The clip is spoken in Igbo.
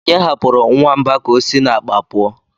onye hapụrụ nwamba k'osi n'akpa pụọ?